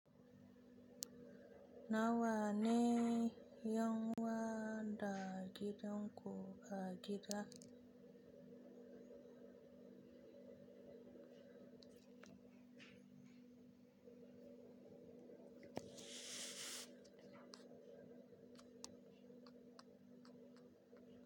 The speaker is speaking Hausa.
Nawa ne 'yan wada gidan ku a gida?